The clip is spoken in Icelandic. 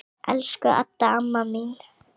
Elsku Adda amma mín.